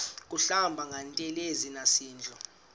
kuhlamba ngantelezi nasidlo